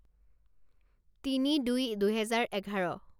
তিনি দুই দুহেজাৰ এঘাৰ